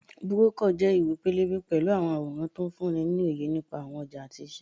Búrókọ̀ jẹ́ ìwé-pélébé pẹ̀lú àwọn àwòrán tó ń fúnni ní òye nípa àwọn ọjà àti iṣẹ́